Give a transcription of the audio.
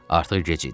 Artıq gec idi.